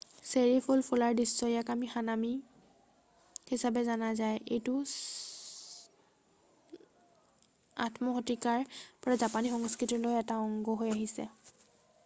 চেৰি ফুল ফুলাৰ দৃশ্য ইয়াক হানামি হিচাপে জনা যায় এইটো 8ম শতিকাৰ পৰা জাপানী সংস্কৃতিৰ এটা অংগ হৈ আহিছে